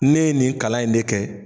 Ne ye nin kalan in de kɛ